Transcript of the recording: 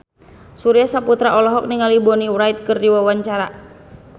Surya Saputra olohok ningali Bonnie Wright keur diwawancara